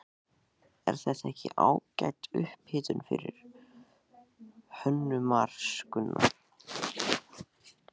Er þetta ekki ágæt upphitun fyrir Hönnunarmars, Gunnar?